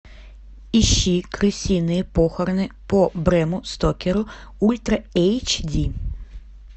ищи крысиные похороны по брэму стокеру ультра эйч ди